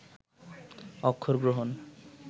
অক্ষর গ্রহণ